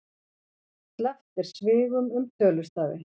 Sleppt er svigum um tölustafi.